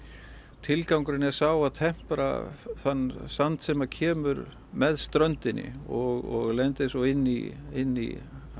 tilgangurinn er sá að tempra þann sand sem kemur með ströndinni og lendir svo inn í inn í